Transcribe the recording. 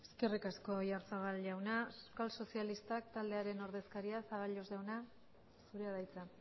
eskerrik asko oyarzabal jauna euskal sozialistak taldearen ordezkaria zaballos jauna zurea da hitza